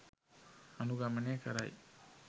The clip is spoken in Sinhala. අනුගමනය කරයි.